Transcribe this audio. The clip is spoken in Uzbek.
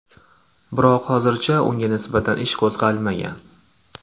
Biroq hozircha unga nisbatan ish qo‘zg‘almagan.